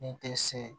Ni tɛ se